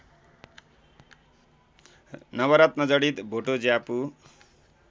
नवरत्नजडित भोटो ज्यापु